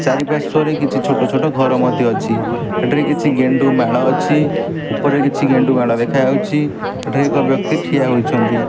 ଚରି ପାର୍ଶ୍ଵରେ କିଛି ଛୋଟ ଛୋଟ ଘର ମଧ୍ୟ ଅଛି ଏଠାରେ କିଛି ଗେଣ୍ଡୁମାଳ ଅଛି ଉପରେ କିଛି ଗେଣ୍ଡୁମାଳ ଦେଖାଯାଉଛି ଏଠାରେ ଏକ ବ୍ୟକ୍ତି ଠିଆ ହୋଇଛନ୍ତି।